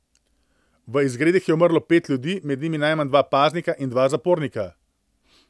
V izgredih je umrlo pet ljudi, med njimi najmanj dva paznika in dva zapornika.